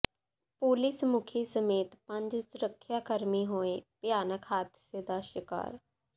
police ਮੁਖੀ ਸਮੇਤ ਪੰਜ ਸੁਰੱਖਿਆ ਕਰਮੀ ਹੋਏ ਭਿਆਨਕ ਹਾਦਸੇ ਦਾ ਸ਼ਿਕਾਰ